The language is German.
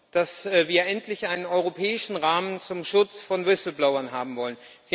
dass wir endlich einen europäischen Rahmen zum Schutz von Whistleblowern haben wollen.